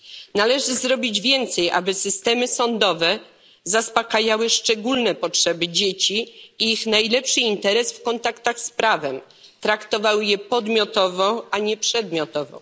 Należy zrobić więcej, aby systemy sądowe zaspokajały szczególne potrzeby dzieci i broniły ich interesów w kontaktach z prawem, traktowały je podmiotowo, a nie przedmiotowo.